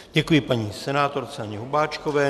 Děkuji paní senátorce Anně Hubáčkové.